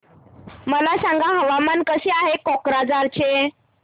मला सांगा हवामान कसे आहे कोक्राझार चे